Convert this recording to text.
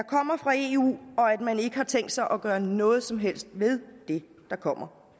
kommer fra eu og at man ikke har tænkt sig at gøre noget som helst ved det der kommer